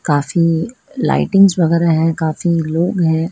काफी लाइटिंगस वगैरह है काफी लोग हैं।